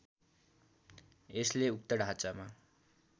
यसले उक्त ढाँचामा